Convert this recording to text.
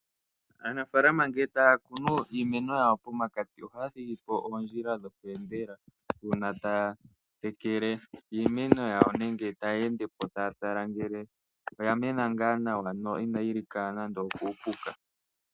Aanafalama ngele taakunu iimeno yawo pomakati ohaya thigipo oondjila dho kweendela. Uuna taya tekele iimeno yawo nenge taya endepo taya tala ngele iimeno yawo oya mena ngaa nawa no inayi lika nando kuupuka